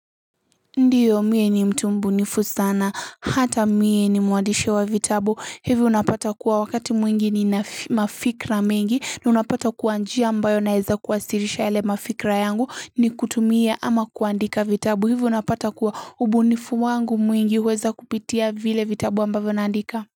Ndiyo, mie ni mtu mbunifu sana, hata mie nimuandishi wa vitabu. Hivyo unapata kuwa wakati mwingi nina fi mafikra mengi, na unapata kuwa njia ambayo naeza kuwasirisha yale mafikra yangu ni kutumia ama kuandika vitabu. Hivo unapata kuwa ubunifu wangu mwingi huweza kupitia vile vitabu ambavo naandika.